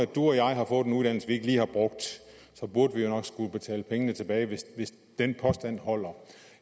du og jeg har fået en uddannelse vi ikke lige har brugt så burde vi jo nok skulle betale pengene tilbage hvis den påstand holder